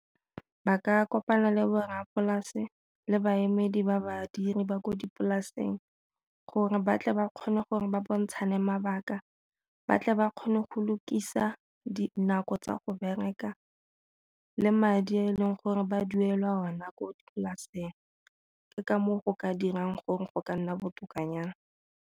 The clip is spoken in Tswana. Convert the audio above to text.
Ba ka kopana le borrapolase le baemedi ba badiri ba ko dipolaseng gore batle ba kgone gore ba bontshane mabaka, ba tle ba kgone go lokisa dinako tsa go bereka le madi a e leng gore ba duelwa ona ko dipolaseng. Ke ka moo go ka dirang gore go ka nna botokanyana.